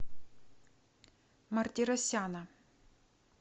мартиросяна